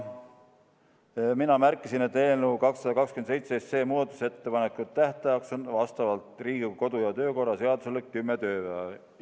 Mina märkisin, et eelnõu 227 muudatusettepanekute tähtajaks on vastavalt Riigikogu kodu- ja töökorra seadusele 10 tööpäeva.